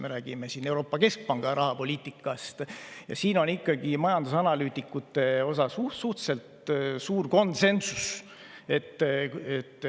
Me räägime Euroopa Keskpanga rahapoliitikast ja siin on ikkagi majandusanalüütikute seas suhteliselt suur konsensus.